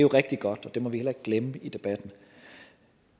rigtig godt og det må vi heller ikke glemme i debatten